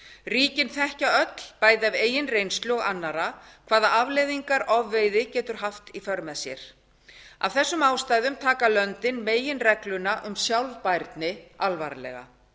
ríkin þekkja öll bæði af eigin reynslu og annarra hvaða afleiðingar ofveiði getur haft í för með sér af þessum ástæðum taka löndin meginregluna um sjálfbærni alvarlega